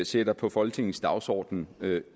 sætter på folketingets dagsorden